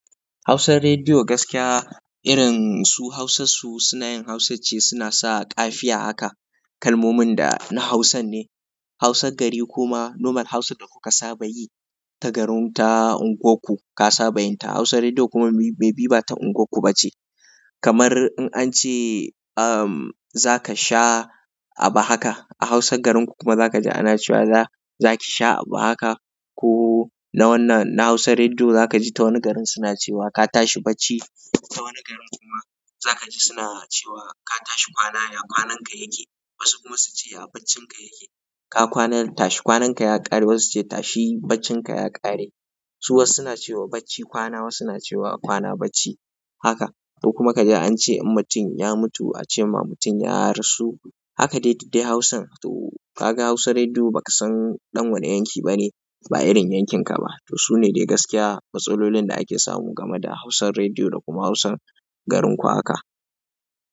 Hausan rediyo gaskiya irin su Hausarsu suna yin Hausance, suna sa ƙafiya haka kalmomin da na Hausan ne. Hausan gari kuma nomal Hausan da kuka saba yi ta garin ta unguwanku ka saba yin ta. Hausan rediyo kuma bai bi ba ta unguwanku ba ce. Kamar in an ce, um, za ka sha abu haka. A Hausan garinku kuma za ka ji ana cewa za-za ki sha abu haka. Ko na wannan, na Hausan rediyo za ka ji ta wani garin suna cewa ka tashi bacci. Ta wani garin kuma za ka ji suna cewa ka tashi kwana, ya kwananka yake. Wasu kuma su ce a baccinka yake. Ka kwana tashi kwananka ya ƙare. Wasu su ce tashi baccinka ya ƙare. Su wasu suna cewa bacci kwana, wasu suna cewa kwana bacci. Haka. Ko kuma ka ji an ce in mutum ya mutu a ce ma mutum ya rasu. Haka daidai dai Hausan. To ka ga Hausan rediyo ba ka san ɗan wane yanki ba ne, ba irin yankinka ba. To su ne dai gaskiya matsalolin da ake samu game da Hausan rediyo da kuma Hausan garin ku haka.